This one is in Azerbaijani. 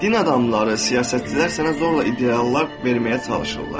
Din adamları, siyasətçilər sənə zorla ideallar verməyə çalışırlar.